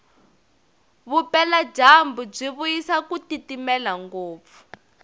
vupela jambu bwivuyisa kutimela ngopfu